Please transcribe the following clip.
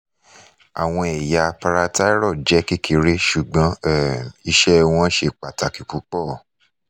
awọn ẹ̀yà parathyroid jẹ kekere ṣugbọn um iṣẹ wọn ṣe pataki pupọ